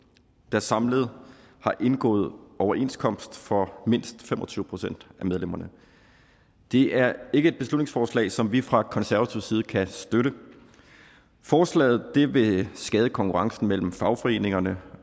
der samlet har indgået overenskomst for mindst fem og tyve procent af medlemmerne det er ikke et beslutningsforslag som vi fra konservativ side kan støtte forslaget vil skade konkurrencen mellem fagforeningerne